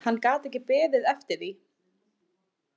Hann gat ekki beðið eftir því.